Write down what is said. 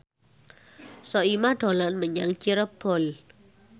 Soimah dolan menyang Cirebon